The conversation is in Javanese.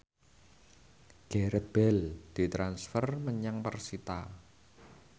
Gareth Bale ditransfer menyang persita